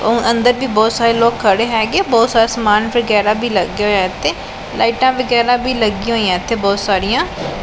ਔਰ ਅੰਦਰ ਵੀ ਬਹੁਤ ਸਾਰੇ ਲੋਕ ਖੜੇ ਹੈਗੇ ਬਹੁਤ ਸਾਰਾ ਸਮਾਨ ਵਗੈਰਾ ਵੀ ਲੱਗਿਆ ਹੋਇਆ ਇੱਥੇ ਲਾਈਟਾਂ ਵਗੈਰਾ ਵੀ ਲੱਗਿਆ ਹੋਈਆਂ ਇੱਥੇ ਬਹੁਤ ਸਾਰੀਆਂ।